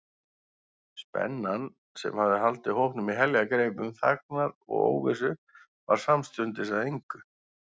Spennan, sem hafði haldið hópnum í heljargreipum þagnar og óvissu, varð samstundis að engu.